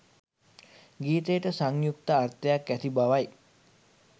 ගීතයට සංයුක්ත අර්ථයක් ඇති බවයි